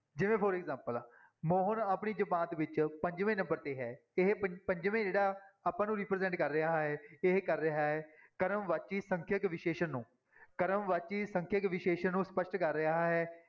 ਜਿਵੇਂ for example Mohan ਆਪਣੀ ਜਮਾਤ ਵਿੱਚ ਪੰਜਵੇਂ number ਤੇ ਹੈ ਇਹ ਪੰ ਪੰਜਵੇਂ ਜਿਹੜਾ ਆਪਾਂ ਨੂੰ represent ਕਰ ਰਿਹਾ ਹੈ ਇਹ ਕਰ ਰਿਹਾ ਹੈ ਕਰਮ ਵਾਚੀ ਸੰਖਿਅਕ ਵਿਸ਼ੇਸ਼ਣ ਨੂੰ ਕਰਮ ਵਾਚੀ ਸੰਖਿਅਕ ਵਿਸ਼ੇਸ਼ਣ ਨੂੰ ਸਪਸ਼ਟ ਕਰ ਰਿਹਾ ਹੈ।